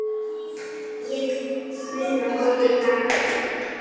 Ég vil muna góðu dagana.